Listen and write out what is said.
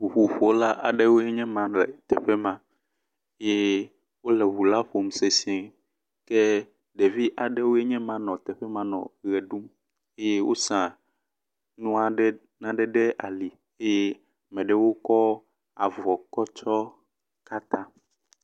Ŋuƒoƒola aɖe nye ma le teƒe ma. Ye wo le ŋu la ƒom sesie ke ɖevi aɖewoe nye ma nɔ teƒe ma nɔ ʋe ɖum ye wosa nu aɖe ɖe naen ɖe ali eye ame aɖewo kɔ avɔ kɔ tsɔ katã.